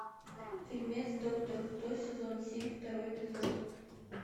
фильмец доктор кто сезон семь второй эпизод